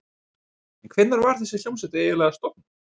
En hvenær var þessi hljómsveit eiginlega stofnuð?